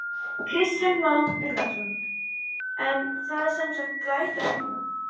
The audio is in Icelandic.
Kristján Már Unnarsson: En það er samt glæta núna?